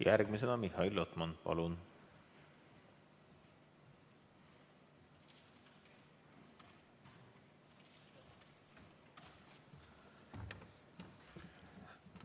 Järgmisena Mihhail Lotman, palun!